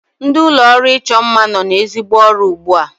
Ndị ụlọọrụ ịchọ mma nọ n'ezigbo ọrụ ugbu a